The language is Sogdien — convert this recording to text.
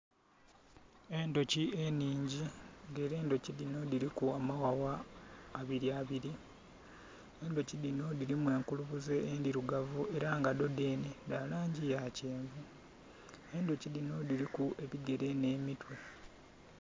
Endhuki ennhingi nga ela endhuki dhino dhiliku amaghagha abili abili. Endhuki dhino dhiliku enkulubuze endhilugavu ela nga dho dhenhe dha langi ya kyenvu. Endhuki dhino dhiliku ebigele nh'emitwe.